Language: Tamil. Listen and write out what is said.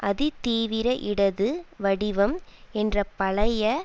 அதிதீவிரஇடது வடிவம் என்ற பழைய